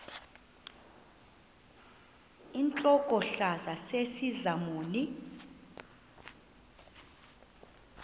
intlokohlaza sesisaz omny